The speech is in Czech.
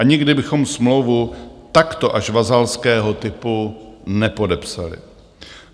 A nikdy bychom smlouvu takto až vazalského typu nepodepsali.